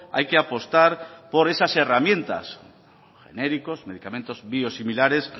hay que apostar por esas herramientas genéricos medicamentos biosimilares